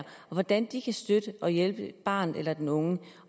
hvordan de kan støtte og hjælpe barnet eller den unge